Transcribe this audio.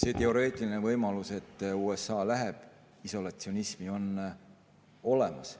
See teoreetiline võimalus, et USA läheb isolatsionismi, on olemas.